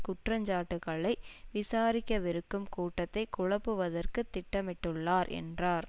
குற்ற சாட்டுக்களை விசாரிக்கவிருக்கும் கூட்டத்தை குழப்புவதற்கு திட்டமிட்டுள்ளார் என்றார்